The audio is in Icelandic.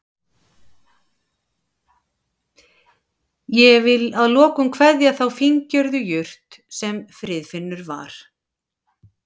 Ég vil að lokum kveðja þá fíngerðu jurt sem Friðfinnur var.